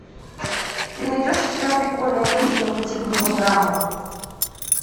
ты найдешь у себя прикольную картину по типу мелодрамы